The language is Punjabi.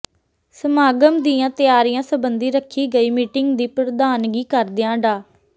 ਸਮਾਗਮ ਦੀਆਂ ਤਿਆਰੀਆਂ ਸਬੰਧੀ ਰੱਖੀ ਗਈ ਮੀਟਿੰਗ ਦੀ ਪ੍ਰਧਾਨਗੀ ਕਰਦਿਆਂ ਡਾ